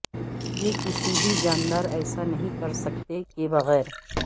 یہ کسی بھی جاندار ایسا نہیں کر سکتے کے بغیر